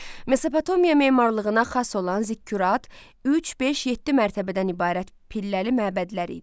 Mesopotamiya memarlığına xas olan zikkurat, üç, beş, yeddi mərtəbədən ibarət pilləli məbədlər idi.